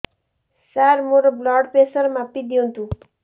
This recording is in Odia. ସାର ମୋର ବ୍ଲଡ଼ ପ୍ରେସର ମାପି ଦିଅନ୍ତୁ